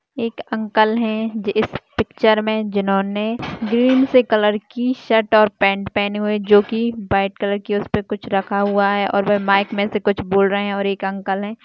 एक अंकल है ज इस पिक्चर मे जिन्होंने ग्रीन से कलर की शर्ट और पैन्ट पहने हुए है जोकी व्हाइट कलर की उसपे कुछ रखा हुआ है और ब-माइक मे से कुछ बोल रहे है और एक अंकल हैं।